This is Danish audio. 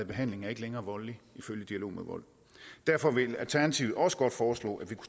behandling er ikke længere voldelige ifølge dialog mod vold derfor vil alternativet også godt foreslå at vi